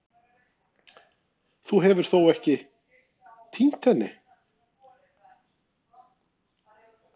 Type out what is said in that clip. Þú hefur þó ekki. týnt henni?